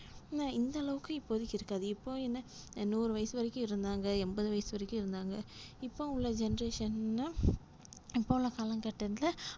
அஹ் இந்த அளவுக்கு இப்போதக்கி இருக்காது இப்போ என்ன நூறு வயசு வரைக்கும் இருந்தாங்க எம்பது வயசு வரைக்கும் இருந்தாங்க இப்போ அவங்க generation லா இப்போஉள்ள காலக்கட்டத்துல,